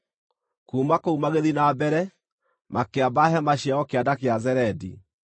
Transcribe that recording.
Kuuma kũu magĩthiĩ na mbere, makĩamba hema ciao Kĩanda kĩa Zeredi.